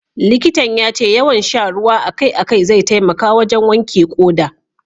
Likitan ya ce yawan sha ruwa a kai a kai zai taimaka wajen wanke ƙoda.